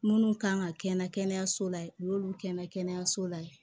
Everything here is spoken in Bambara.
Minnu kan ka kɛ n na kɛnɛyaso la yen u y'olu kɛ n na kɛnɛyaso la yen